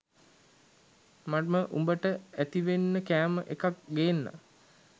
මම උඹට ඇතිවෙන්න කෑම එකක් ගේන්නං